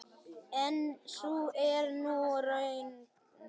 En sú er nú raunin.